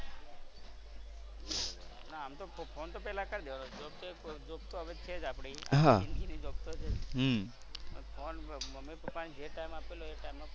ના આમ તો ફોન તો પહેલા કરી દેવાનો. job તો હવે job તો હવે છે જ આપડી. . હમ્મ પણ ફોન મમ્મી પપ્પા ને જે ટાઇમ આપેલો એ ટાઇમ ફોન કરી દેવાનો.